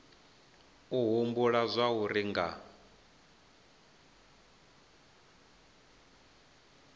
u humbula zwauri vha nga